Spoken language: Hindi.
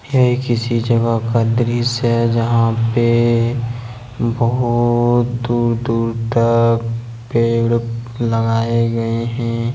चाहे किसी जगह का दृश्य जहां पर बहुत दूर दूर तक पेड़ लगाए गए हैं।